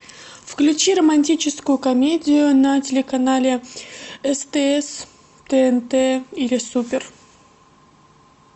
включи романтическую комедию на телеканале стс тнт или супер